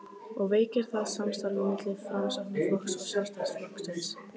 og veikir það samstarfið milli Framsóknarflokksins og Sjálfstæðisflokksins?